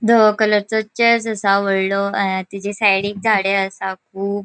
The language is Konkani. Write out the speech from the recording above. धवो कलरचो चर्च असा होडलो अ तेचा साइडिक झाडे असा खूब.